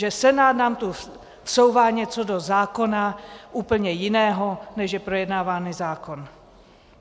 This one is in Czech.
Že Senát nám sem vsouvá něco do zákona úplně jiného, než je projednávaný zákon.